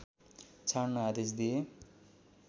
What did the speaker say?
छाड्न आदेश दिए